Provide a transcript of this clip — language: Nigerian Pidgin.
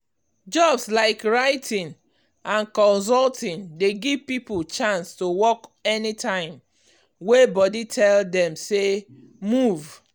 jobs like writing and consulting dey give people chance to work anytime wey body tell them say ‘move’.